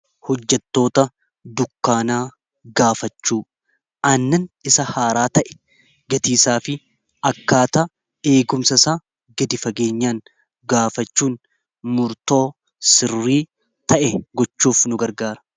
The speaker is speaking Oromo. Hojjattoota dukkaanaa gaafachuu annan isa haaraa ta'e gatiisaa fi akkaata eegumsa isa gadi fageenyaan gaafachuun murtoo sirrii ta'e gochuuf nu gargaara.